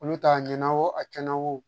Olu ta ɲɛna wo a cɛn na wo